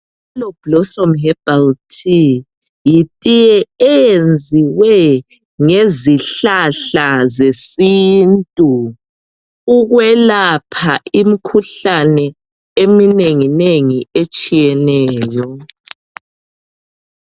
Yellow blossom herbal tea yitiye eyenziwe ngezihlahla zesintu ukwelapha imikhuhlane eminenginengi etshiyeneyo.